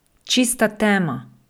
Čista tema!